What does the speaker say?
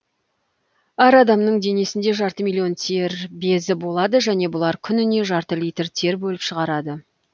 әр адамның денесінде жарты миллион тер безі болады және бұлар күніне жарты литр тер бөліп шығарады